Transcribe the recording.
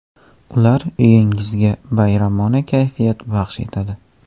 Ular uyingizga bayramona kayfiyat baxsh etadi.